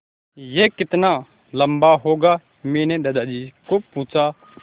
यह कितना लम्बा होगा मैने दादाजी को पूछा